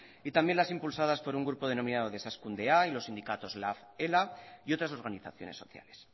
y también las impulsadas por un grupo denominado desazkundea y los sindicatos lab ela y otras organizaciones sociales